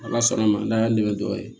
Ala sɔnna a ma n'a y'a nɛmɛ dɔ ye